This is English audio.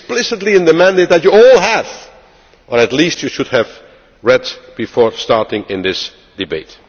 It is explicitly in the mandate that you all have, or at least you should have read before starting this debate.